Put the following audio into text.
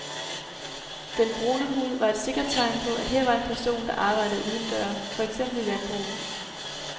Den brune hud var et sikkert tegn på, at her var en person, der arbejdede udendøre, for eksempel i landbruget.